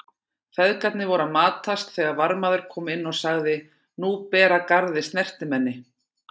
Feðgarnir voru að matast þegar varðmaður kom inn og sagði:-Nú ber að garði stertimenni.